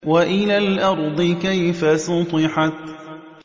وَإِلَى الْأَرْضِ كَيْفَ سُطِحَتْ